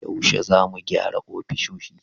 Yaushe za mu gyara ofisoshi?